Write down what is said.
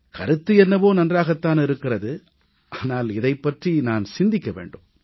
கருத்து என்னவோ நன்றாகத் தான் இருக்கிறது ஆனால் இதைப் பற்றி நான் சிந்திக்க வேண்டும்